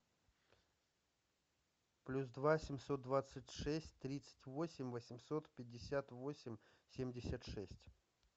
плюс два семьсот двадцать шесть тридцать восемь восемьсот пятьдесят восемь семьдесят шесть